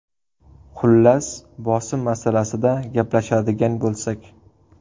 Xullas, bosim masalasida gaplashadigan bo‘lsak.